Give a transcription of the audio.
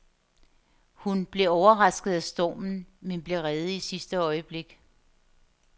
Hun blev overrasket af stormen, men blev reddet i sidste øjeblik.